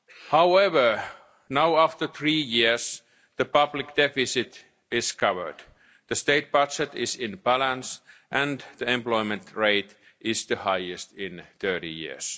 However, now, after three years, the public deficit is covered, the state budget is in balance and the employment rate is the highest in 30 years.